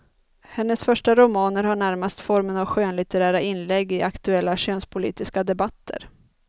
Hennes första romaner har närmast formen av skönlitterära inlägg i aktuella könspolitiska debatter.